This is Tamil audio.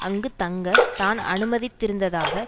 அங்கு தங்க தான் அனுமதித்திருந்ததாக